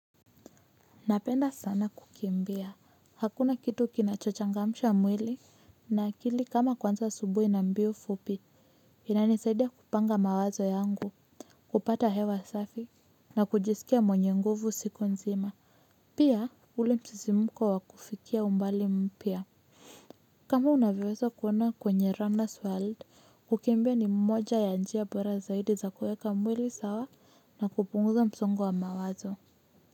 Napenda sana kukimbia, hakuna kitu kinachochangamsha mwili, na akili kama kwanza subuhi na mbio fupi, inanisaidia kupanga mawazo yangu, kupata hewa safi, na kujisikia mwenye nguvu siku nzima, pia ule msisi mkwa wakufikia umbali mpya. Kama unavyoweza kuona kwenye runners world, kukimbia ni mmoja ya njia bora zaidi za kuweka mwili sawa na kupunguza msongo wa mawazo.